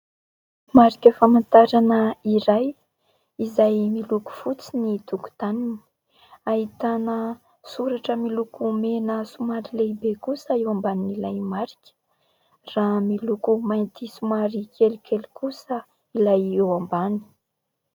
Marika famantarana iray izay miloko fotsy ny tokotaniny. Ahitana soratra miloko mena somary lehibe kosa eo ambanin'ilay marika raha miloko mainty somary kelikely kosa ilay eo ambany.